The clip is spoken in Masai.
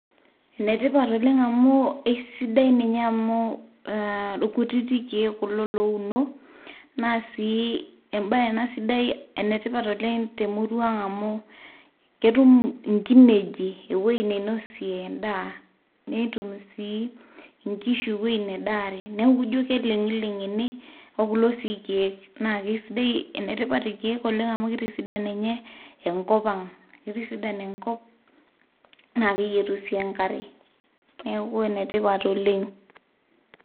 Ene tipat oleng' amu esidai ninye amu aa irkutit keek kulo luono naa sii embaye ena sidai ene tipat te murua ang' amu ketum nkinejik ewoi neinosie endaa, netum sii nkishu ewoi nedaare, neeku ijo keleng'ileng' ene o kulo sii keek. Naake sidai ene tipat irkeek amu kitisan nye enkop ang', kitisidan enkop naake eyetu sii enkare neeku ene tipat oleng'.